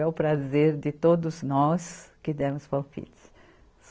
É o prazer de todos nós que demos palpites.